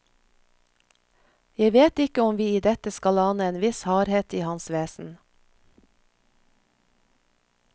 Jeg vet ikke om vi i dette skal ane en viss hardhet i hans vesen.